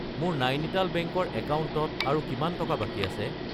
মোৰ নাইনিটাল বেংক ৰ একাউণ্টত আৰু কিমান টকা বাকী আছে?